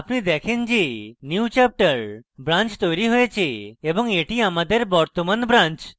আপনি দেখেন যে newchapter branch তৈরী হয়েছে এবং এটি আমাদের বর্তমান branch